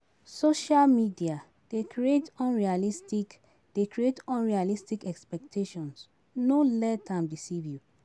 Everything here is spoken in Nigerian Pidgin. Social media dey create dey create unrealistic expectations, no let am deceive you.